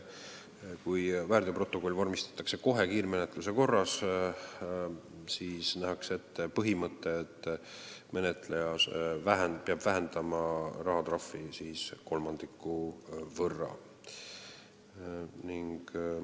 Ehk kui väärteoprotokoll vormistatakse kohe kiirmenetluse korras, siis nähakse ette põhimõte, et menetleja peab rahatrahvi kolmandiku võrra vähendama.